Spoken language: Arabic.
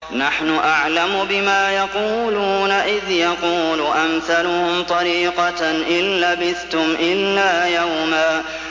نَّحْنُ أَعْلَمُ بِمَا يَقُولُونَ إِذْ يَقُولُ أَمْثَلُهُمْ طَرِيقَةً إِن لَّبِثْتُمْ إِلَّا يَوْمًا